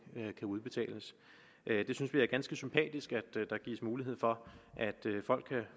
kan udbetales vi synes det er ganske sympatisk at der gives mulighed for at folk kan